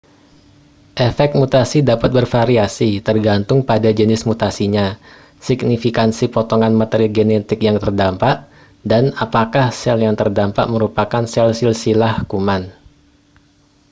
efek mutasi dapat bervariasi tergantung pada jenis mutasinya signifikansi potongan materi genetik yang terdampak dan apakah sel yang terdampak merupakan sel silsilah kuman